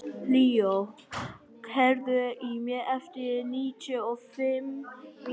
Leo, heyrðu í mér eftir níutíu og fimm mínútur.